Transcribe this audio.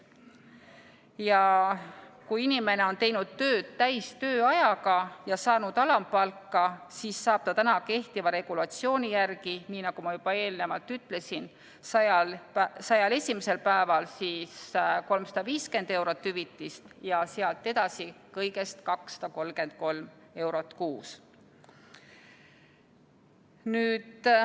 Ja kui inimene on teinud tööd täistööajaga ja saanud alampalka, siis saab ta täna kehtiva regulatsiooni järgi, nii nagu ma juba eelnevalt ütlesin, 100-l esimesel päeval 350 eurot hüvitist ja sealt edasi kõigest 233 eurot kuus.